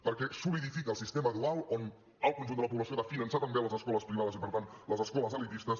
perquè solidifica el sistema dual on el conjunt de la població ha de finançar també les escoles privades i per tant les escoles elitistes